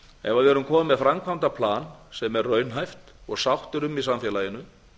ef við erum komin með framkvæmdaplan sem er raunhæft og sátt er um í samfélaginu